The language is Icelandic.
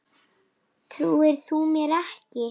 Trúir þú mér ekki?